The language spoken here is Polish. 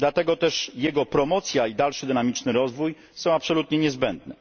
Dlatego też jego promocja i dalszy dynamiczny rozwój są absolutnie niezbędne.